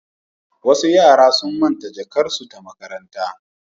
Wasu yara sun manta jakarsu ta makaranta.